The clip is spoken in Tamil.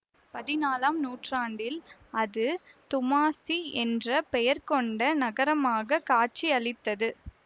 பதினாலாம் நூற்றாண்டில் அது துமாசிக் என்ற பெயர் கொண்ட நகரமாக காட்சியளித்தது